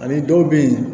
Ani dɔw bɛ yen